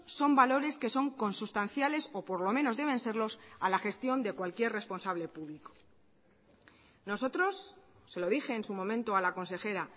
son valores que son consustanciales o por lo menos deben serlos a la gestión de cualquier responsable público nosotros se lo dije en su momento a la consejera